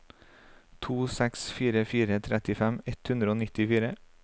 to seks fire fire trettifem ett hundre og nittifire